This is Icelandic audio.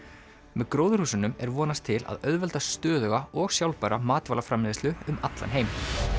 með gróðurhúsunum er vonast til að auðvelda stöðuga og sjálfbæra matvælaframleiðslu um allan heim